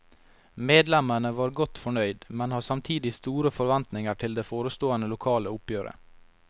Medlemmene var godt fornøyd, men har samtidig store forventninger til det forestående lokale oppgjøret.